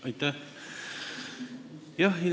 Aitäh!